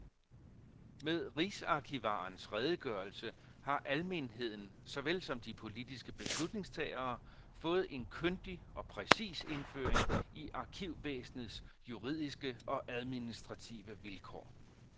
Med rigsarkivarens redegørelse har almenheden såvel som de politiske beslutningstagere fået en kyndig og præcis indføring i arkivvæsenets juridiske og administrative vilkår.